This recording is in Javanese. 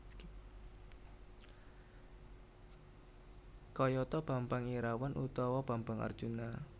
Kayata Bambang Irawan utawa Bambang Arjuna